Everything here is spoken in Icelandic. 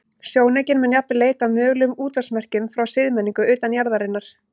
Sjónaukinn mun jafnvel leita að mögulegum útvarpsmerkjum frá siðmenningu utan jarðarinnar.